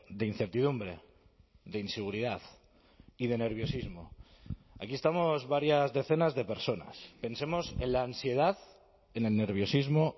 de incertidumbre de inseguridad y de nerviosismo aquí estamos varias decenas de personas pensemos en la ansiedad en el nerviosismo